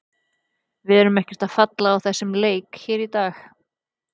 Við erum ekkert að falla á þessum leik hér í dag.